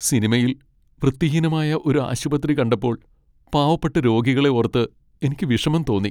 സിനിമയിൽ വൃത്തിഹീനമായ ഒരു ആശുപത്രി കണ്ടപ്പോൾ പാവപ്പെട്ട രോഗികളെ ഓർത്ത് എനിക്ക് വിഷമം തോന്നി.